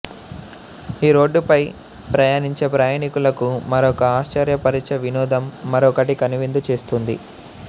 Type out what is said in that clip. ఈ రోడ్డు పై ప్రయాణించే ప్రయాణికులకు మరొక ఆశ్చర్యపరిచే వినోదం మరొకటి కనువిందు చేస్తుంది